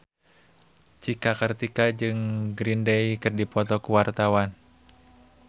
Cika Kartika jeung Green Day keur dipoto ku wartawan